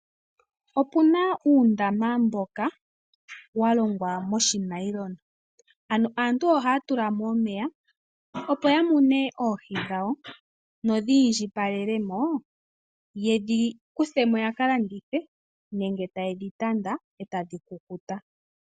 Opuna uundama mboka wa longwa monayilona, ano aantu ohaya tula mo omeya opo ya mune oohi dhawo nodhi indjipalele mo, yedhi kuthe mo yaka landithe nenge taye dhi tanda e tadhi kukuta.